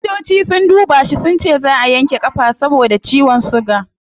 Likitoci sun duba shi sunce zaa a yanke kafa saboda ciwon suga